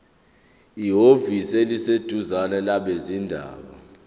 ehhovisi eliseduzane labezindaba